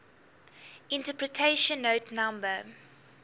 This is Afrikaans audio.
interpretation note no